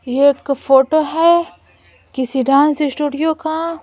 ये एक फोटो है किसी डांस स्टूडियो का--